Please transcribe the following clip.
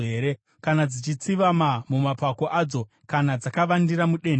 kana dzichitsivama mumapako adzo kana kuti dzakavandira mudenhere?